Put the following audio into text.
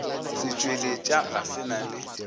setšweletša ga se na le